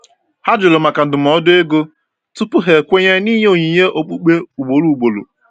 Ha jụrụ maka ndụmọdụ ego tupu ha ekwenye n’ịnye onyinye okpukpe ugboro ugboro.